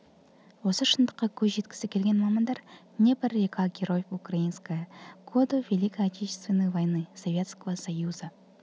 осы шындыққа көз жеткізгісі келген мамандар днепр река героев украинская годы великой отечественной войне советского союза